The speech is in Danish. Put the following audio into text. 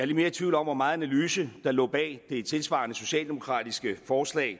lidt mere i tvivl om hvor meget analyse der lå bag det tilsvarende socialdemokratiske forslag